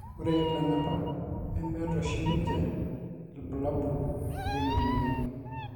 ore ilanapak nemmeta oshi ninche irbulabol leina moyian